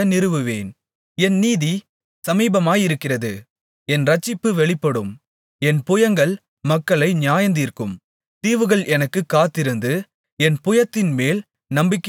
என் நீதி சமீபமாயிருக்கிறது என் இரட்சிப்பு வெளிப்படும் என் புயங்கள் மக்களை நியாயந்தீர்க்கும் தீவுகள் எனக்குக் காத்திருந்து என் புயத்தின்மேல் நம்பிக்கையாயிருக்கும்